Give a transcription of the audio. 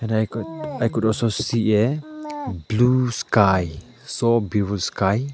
I could I could also see a blue sky so beautiful sky.